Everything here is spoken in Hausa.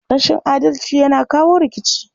Rashin adalci yana kawo rikici.